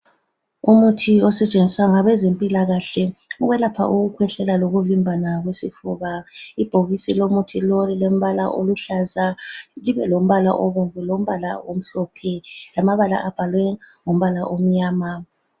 Umuthi osetshenziswa ngabezempilakahle ukwelapha ukukhwehlela lokuvimbana kwesifuba, ibhokisi lomuthi lowu lilombala oluhlaza libe lombala obomvu lombala omhlophe lamabala abhalwe ngombala omnyama.